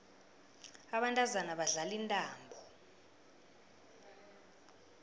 abantazana badlala intambo